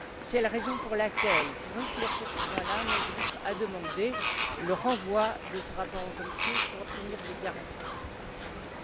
C'est la raison pour laquelle, pour éclaircir ce point là, mon groupe a demandé le renvoi de ce rapport en commission pour obtenir des garanties sur cette question.